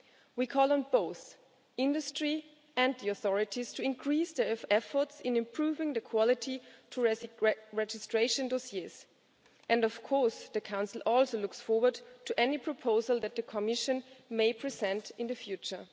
We call on both industry and the authorities to increase their efforts on improving the quality of registration dossiers and, of course, the Council also looks forward to any proposal that the Commission may present in the future.